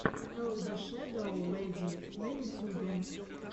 эл дэ шэдоу лэди на ютюбе